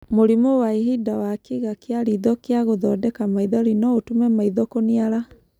Mũrimũ wa ihinda wa kĩĩga kĩa riitho kĩa gũthondeka maithori no ũtũme maitho kũniara.